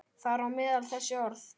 Þar á meðal þessi orð.